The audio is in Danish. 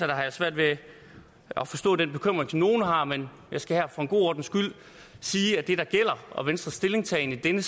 jeg svært ved at forstå den bekymring som nogle har men jeg skal her for en god ordens skyld sige at det der er venstres stillingtagen i den